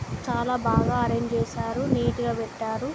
చాలా బాగా అరెంజ్ చేసారు.నీట్ గా పెట్టారు.